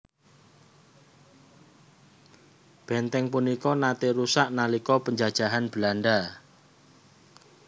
Bèntèng punika naté rusak nalika penjajahan Belanda